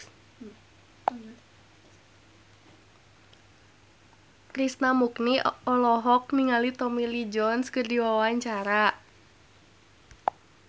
Krishna Mukti olohok ningali Tommy Lee Jones keur diwawancara